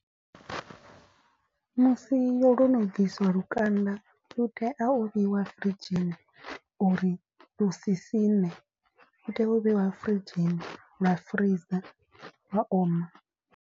Musi yo lwo no bvisiwa lukanda lu tea u vheiwa firidzhini, uri lu si siṋe lu tea u vheiwa firidzhini lwa freezor lwa oma.